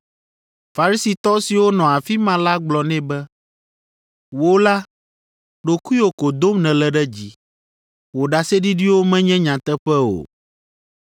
Farisitɔ siwo nɔ afi ma la gblɔ nɛ be “Wò la, ɖokuiwò ko dom nèle ɖe dzi. Wò ɖaseɖiɖiwo menye nyateƒe o.”